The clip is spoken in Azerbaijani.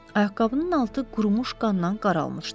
Ayaqqabının altı qurumuş qandan qaralmışdı.